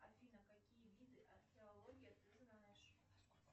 афина какие виды археологии ты знаешь